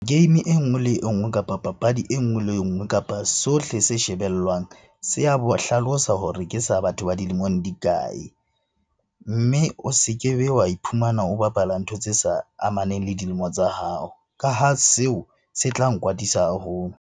Game enngwe le enngwe, kapa papadi enngwe le enngwe, kapa sohle se shebellwang se a hlalosa hore ke sa batho ba dilemong di kae? Mme o se kebe wa iphumana o bapala ntho tse sa amaneng le dilemo tsa hao, ka ha seo se tla nkwatisa haholo.